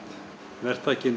verktakinn